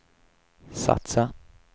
satsa